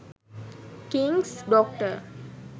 kings doctor